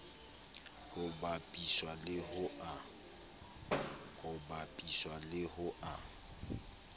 ho bapiswa le ho a